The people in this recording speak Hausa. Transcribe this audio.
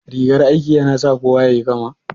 Rigar aiki ya na sa kowa yayi kama?